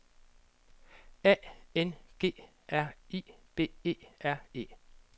A N G R I B E R E